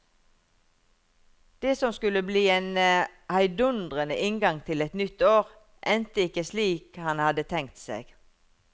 Det som skulle bli en heidundrende inngang til et nytt år, endte ikke slik han hadde tenkt seg.